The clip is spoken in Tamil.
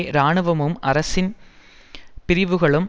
இராணுவமும் அரசின் பிரிவுகளும்